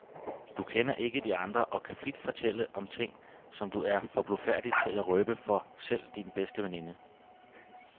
Du kender ikke de andre og kan frit fortælle om ting, som du er for blufærdig til at røbe for selv din bedste veninde.